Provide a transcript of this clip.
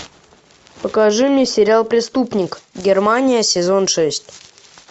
покажи мне сериал преступник германия сезон шесть